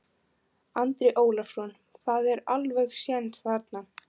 Andri Ólafsson: Það er alveg séns þarna?